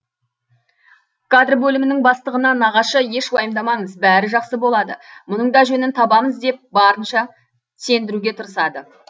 кадр бөлімінің бастығына нағашы еш уайымдамаңыз бәрі жақсы болады мұның да жөнін табамыз деп барынша сендіруге тырысады